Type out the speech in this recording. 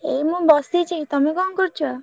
ଏଇ ମୁ ବସିଛି ତମେ ଙ୍କ କରୁଛ?